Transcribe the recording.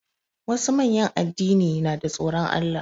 Wasu manyan addini na da tsoron Allah.